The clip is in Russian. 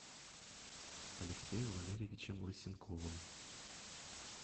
алексеем валерьевичем лысенковым